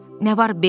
Nə var Bekki?